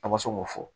A ma se k'o fɔ